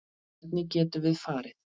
Hvenær getum við farið?